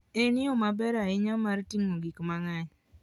En yo maber ahinya mar ting'o gik mang'eny.